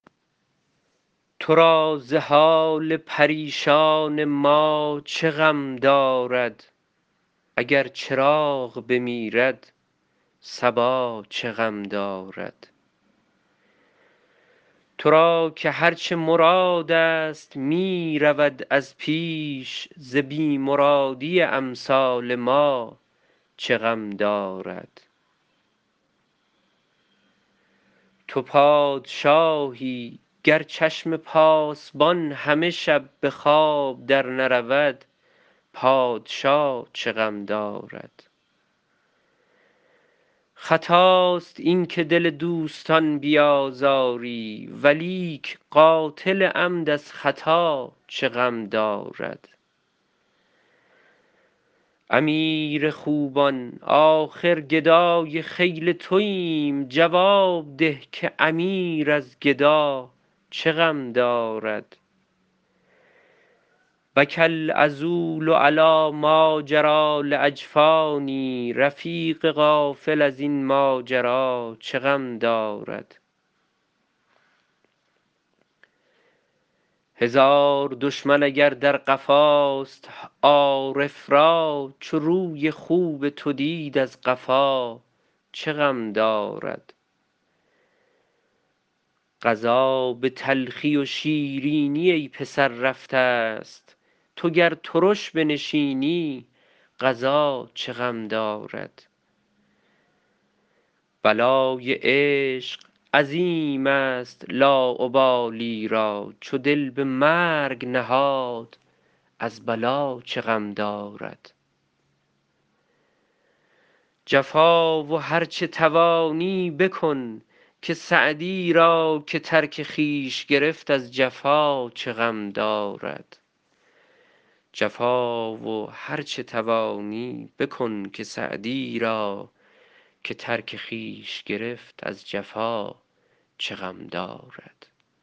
تو را ز حال پریشان ما چه غم دارد اگر چراغ بمیرد صبا چه غم دارد تو را که هر چه مرادست می رود از پیش ز بی مرادی امثال ما چه غم دارد تو پادشاهی گر چشم پاسبان همه شب به خواب درنرود پادشا چه غم دارد خطاست این که دل دوستان بیازاری ولیک قاتل عمد از خطا چه غم دارد امیر خوبان آخر گدای خیل توایم جواب ده که امیر از گدا چه غم دارد بکی العذول علی ماجری لاجفانی رفیق غافل از این ماجرا چه غم دارد هزار دشمن اگر در قفاست عارف را چو روی خوب تو دید از قفا چه غم دارد قضا به تلخی و شیرینی ای پسر رفتست تو گر ترش بنشینی قضا چه غم دارد بلای عشق عظیمست لاابالی را چو دل به مرگ نهاد از بلا چه غم دارد جفا و هر چه توانی بکن که سعدی را که ترک خویش گرفت از جفا چه غم دارد